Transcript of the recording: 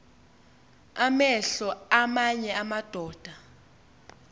amehlo aamanye amadoda